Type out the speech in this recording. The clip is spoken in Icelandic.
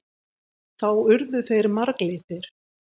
Þá urðu þeir marglitir.